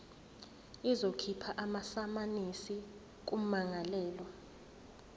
izokhipha amasamanisi kummangalelwa